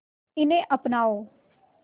इन्हें अपनाओ